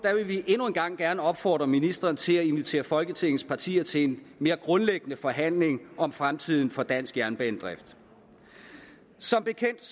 vil vi endnu en gang gerne opfordre ministeren til at invitere folketingets partier til en mere grundlæggende forhandling om fremtiden for dansk jernbanedrift som bekendt